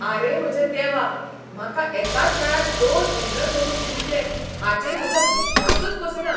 आरे म्हज्या देवा, म्हाका एकाच वेळार दोन इंद्रधोणू दिसले हाचेर म्हजो विश्वासच बसना!